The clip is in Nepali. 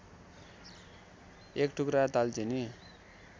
एक टुक्रा दालचिनी